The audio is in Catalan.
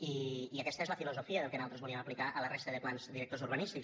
i aquesta és la filosofia del que nosaltres volíem aplicar a la resta de plans directors urbanístics